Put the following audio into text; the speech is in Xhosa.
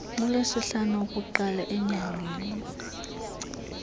kulwesihlanu wokuqala enyangeni